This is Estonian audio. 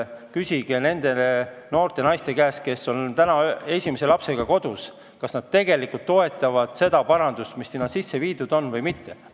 Küsige nende noorte naiste käest, kes on täna esimese lapsega kodus, kas nad tegelikult toetavad seda parandust, mis seal on tehtud, või mitte.